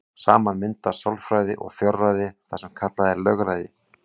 Saman mynda sjálfræði og fjárræði það sem kallað er lögræði.